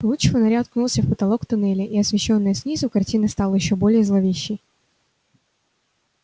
луч фонаря уткнулся в потолок туннеля и освещённая снизу картина стала ещё более зловещей